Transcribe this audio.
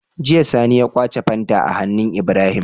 Jiya sani ya kwace fanta a hannun Ibrahim